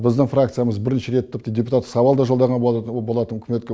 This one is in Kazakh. біздің фракциямыз бірінші рет тіпті депутаттық сауал да жолдаған болатын үкіметке